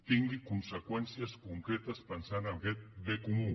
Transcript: tingui conseqüències concretes pensant en aquest bé comú